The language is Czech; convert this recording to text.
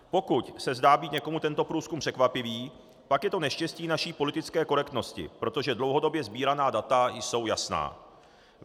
Pokud se zdá být někomu tento průzkum překvapivý, pak je to neštěstí naší politické korektnosti, protože dlouhodobě sbíraná data jsou jasná.